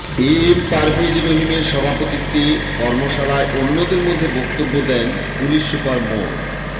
এ M Parvez রহিমের সভাপতিত্বে কর্মশালায় অন্যদের মধ্যে বক্তব্য দেন পুলিশ সুপার মো